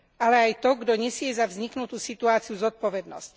Ale aj to, kto nesie za vzniknutú situáciu zodpovednosť.